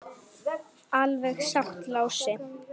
Alveg satt, Lási.